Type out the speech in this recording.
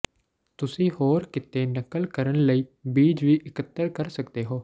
ਤੁਸੀਂ ਹੋਰ ਕਿਤੇ ਨਕਲ ਕਰਨ ਲਈ ਬੀਜ ਵੀ ਇਕੱਤਰ ਕਰ ਸਕਦੇ ਹੋ